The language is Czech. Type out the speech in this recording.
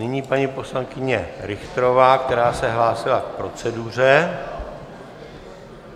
Nyní paní poslankyně Richterová, která se hlásila k proceduře.